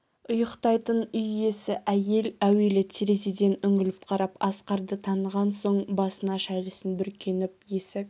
ұйықтайтын үй иесі әйел әуелі терезеден үңіліп қарап асқарды таныған соң басына шәлісін бүркеніп есік